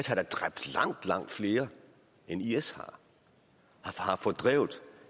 har dræbt langt langt flere end is har har fordrevet